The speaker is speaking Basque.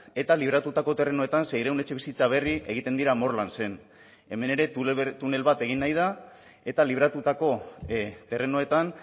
eta libratutako terrenoetan seiehun etxebizitza berri egiten dira morlansen hemen ere tunel bat egin nahi da eta libratutako terrenoetan